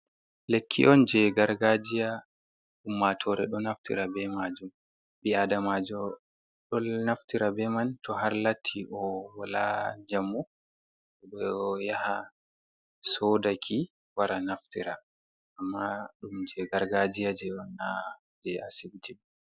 Lekki on jei gargajiya. Ummatore ɗo naftira be majum. bi'adamaji ɗo naftira be man to har latti o wala jamu o yaha o soda ki, o wara o naftira amma ɗum je gargajiya on na je asibiti.